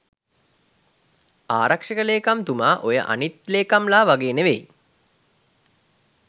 ආරක්ෂක ලේකම්තුමා ඔය අනිත් ලේකම්ලා වගේ නෙවෙයි.